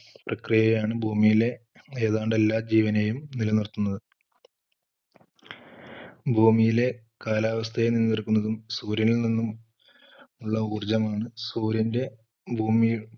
പ്രക്രിയയാണ് ഭൂമിയിലെ ഏതാണ്ട് എല്ലാ ജീവനെയും നിലനിർത്തുന്നത്. ഭൂമിയിലെ കാലാവസ്ഥയെ നിലനിർത്തുന്നതും സൂര്യനിൽ നിന്നുള്ള ഊർജ്ജമാണ്. സൂര്യൻറെ ഭൂമിയെ